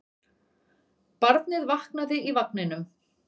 Barnið vaknaði í vagninum.